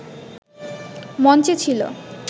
মঞ্চে ছিল